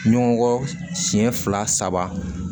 Ɲɔgɔn siɲɛ fila saba